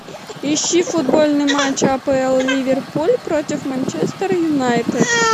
ищи футбольный матч апл ливерпуль против манчестер юнайтед